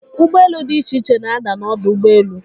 Ụgbọelu dị iche iche na-ada n'ọdọ ụgbọelu.